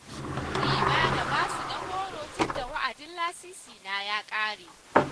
Sun nemi na ba su na goro tunda wa'adin lasisina ya ƙare.